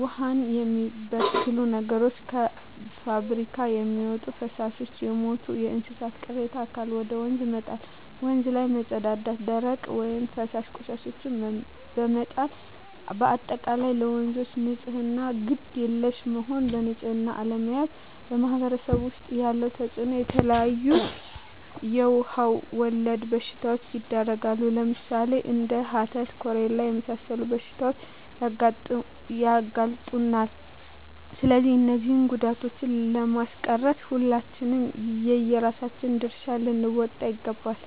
ዉሃን የሚበክሉ ነገሮች - ከፍብሪካ የሚወጡ ፈሳሾች - የሞቱ የእንስሳት ቅሬታ አካል ወደ ወንዝ መጣል - ወንዝ ላይ መፀዳዳት - ደረቅ ወይም ፈሳሽ ቆሻሻዎችን በመጣል - በአጠቃላይ ለወንዞች ንፅህና ግድ የለሽ መሆን በንፅህና አለመያዝ በማህበረሰቡ ዉስጥ ያለዉ ተፅእኖ - የተለያዩ የዉሃ ወለድ በሽታዎች ይዳረጋሉ ለምሳሌ፦ እንደ ሀተት፣ ኮሌራ ለመሳሰሉት በሽታዎች ያጋልጡናል ስለዚህ እነዚህን ጉዳቶችን ለማስቀረት ሁላችንም የየራሳችን ድርሻ ልንወጣ ይገባል